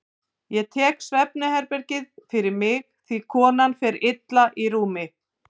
Ég tek svefnherbergið fyrir mig því konan fer illa í rúmi.